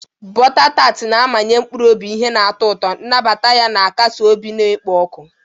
Bota tar na-amanye mkpụrụ obi ihe na-atọ ụtọ, nnabata ya na-akasi obi na-ekpo ọkụ.